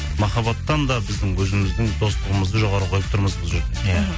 махаббаттан да біздің өзіміздің достығымызды жоғары қойып тұрмыз бұл жерде иә